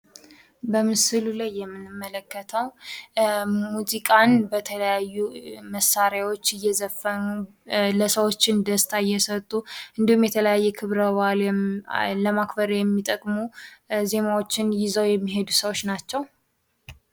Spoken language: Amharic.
በምስሉ ላይ የምንመለከተው ሙዚቃን በተለያዩ መሳሪያዎች እየዘፈኑ ለሰዎች ደስታ እየሰጡ እንዲሁም የተለያየ ክብረ በዓል ለማክበር የሚጠቅሙ ዜማዎችን ይዘዉ የሚሄዱ ናቸው።